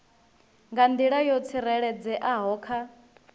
nga nḓila yo tsireledzeaho kha